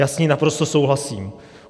Já s ní naprosto souhlasím.